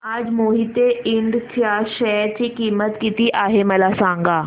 आज मोहिते इंड च्या शेअर ची किंमत किती आहे मला सांगा